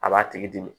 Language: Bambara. A b'a tigi dimi